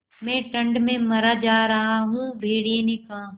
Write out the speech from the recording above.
मैं ठंड में मरा जा रहा हूँ भेड़िये ने कहा